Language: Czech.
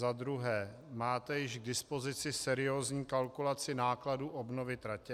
Za druhé: máte již k dispozici seriózní kalkulaci nákladů obnovy tratě?